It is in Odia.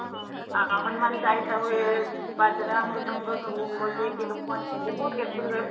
ଆ ହନୁମାନ ଚାଳିଶା ହୁଏ ବାଜା ମୃଦଙ୍ଗ ସବୁ ବଜେଇକି ଲୋକ ମାନେ ସବୁ